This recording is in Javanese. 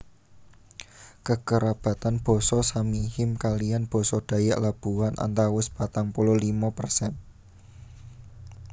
Kekerabatan basa Samihim kaliyan basa Dayak Labuhan antawis patang puluh limo persen